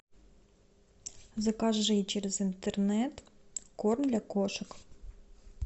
закажи через интернет корм для кошек